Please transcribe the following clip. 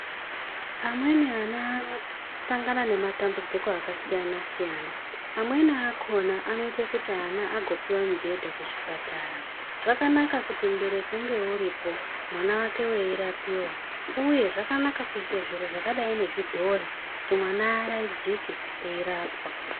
Amweni ana anosangana nematambudziko akasiyana-siyana, amweni akkona anoita kuti ana agopuwa mibhedha kuzvipatara. Zvakanaka kuti mubereki unge uripo mwana wake weyirapiwa. Uye zvakanaka kuyise zviro zvakadayi nezvidhori, kuti mwana aarayidzike eyirapwa.